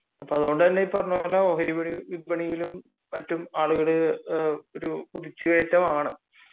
അതുകൊണ്ട് തന്നെ ഓഹരി വിപണിയിലും മറ്റും ആളുകൾ ഒരു കുതിച്ചു കയറ്റമാണ്